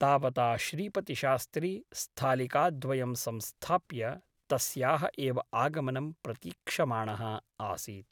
तावता श्रीपतिशास्त्री स्थालिकाद्वयं संस्थाप्य तस्याः एव आगमनं प्रतीक्षमाणः आसीत् ।